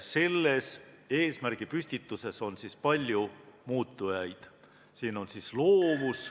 Selles eesmärgi püstituses on palju muutujaid.